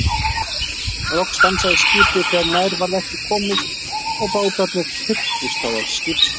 Loks stansaði skipið þegar nær varð ekki komist og bátarnir þyrptust þá að skipshliðinni.